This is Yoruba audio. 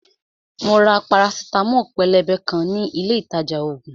Mo ra parasitamo pélébé kan ní ilé ìtajà ògùn